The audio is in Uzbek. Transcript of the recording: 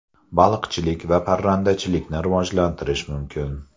Baliqchilik va parrandachilikni rivojlantirish mumkin.